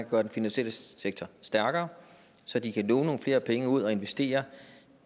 gøre den finansielle sektor stærkere så de kan låne nogle flere penge ud og investere